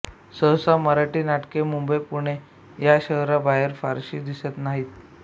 सहसा मराठी नाटके मुंबईपुणे या शहरांबाहेर फारशी दिसत नाहीत